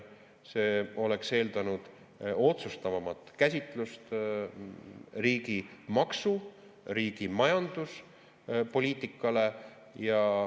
See oleks eeldanud otsustavamat käsitlust riigi maksu‑ ja majanduspoliitikas.